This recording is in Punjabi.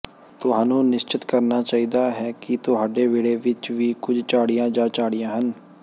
ਤੁਹਾਨੂੰ ਨਿਸ਼ਚਤ ਕਰਨਾ ਚਾਹੀਦਾ ਹੈ ਕਿ ਤੁਹਾਡੇ ਵਿਹੜੇ ਵਿੱਚ ਵੀ ਕੁਝ ਝਾੜੀਆਂ ਜਾਂ ਝਾੜੀਆਂ ਹਨ